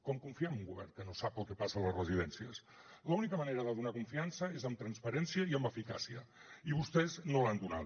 com confiem en un govern que no sap el que passa a les residències l’única manera de donar confiança és amb transparència i amb eficàcia i vostès no l’han donada